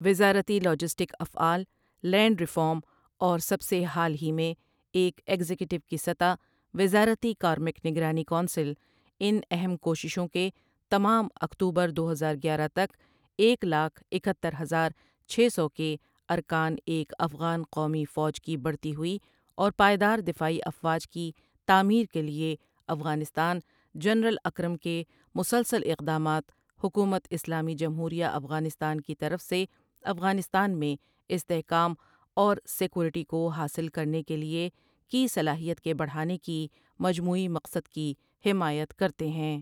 وزارتی لاجسٹک افعال، land reform, اور سب سے حال ہی میں، ایک ایگزیکٹو کی سطح وزارتی کارمک نگرانی کونسل ان اہم کوششوں کے تمام اکتوبر دو ہزار گیارہ تک ایک لاک اکہتر ہزار چھ سو کے ارکان ایک افغان قومی فوج کی بڑھتی ہوئی اور پائیدار دفاعی افواج کی تعمیر کے لیے افغانستان جنرل اکرم کے مسلسل اقدامات حکومت اسلامی جمہوریہ افغانستان کی طرف سے افغانستان میں استحکام اور سیکورٹی کو حاصل کرنے کے لیے کی صلاحیت کے بڑھانے کی مجموعی مقصد کی حمایت کرتے ہیں۔